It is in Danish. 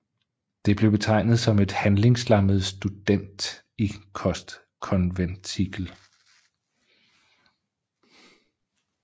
Det blev betegnet som et handlingslammet studentikost konventikel